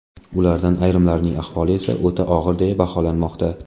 Ulardan ayrimlarining ahvoli o‘ta og‘ir deya baholanmoqda.